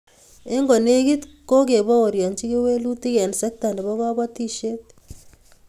Eng kolegit kokebaorionchi kewelutik eng sekta nebo kobotisiet